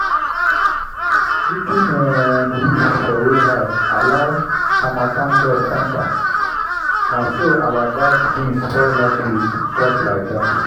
leaking um roof for warehouse allow harmattan dust enter—na so our bagged beans spoil last week just like that.